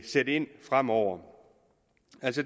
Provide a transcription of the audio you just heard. sætte ind fremover